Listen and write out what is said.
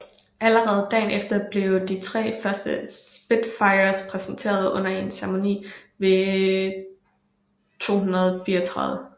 Allerede dagen efter blev de tre første Spitfires præsenteret under en ceremoni ved 234